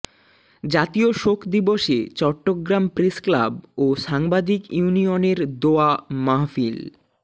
জাতীয় শোক দিবসে চট্টগ্রাম প্রেস ক্লাব ও সাংবাদিক ইউনিয়নের দোয়া মাহফিল